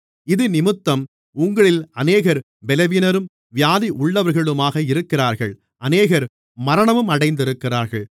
இதினிமித்தம் உங்களில் அநேகர் பலவீனரும் வியாதி உள்ளவர்களுமாக இருக்கிறார்கள் அநேகர் மரணமும் அடைந்திருக்கிறார்கள்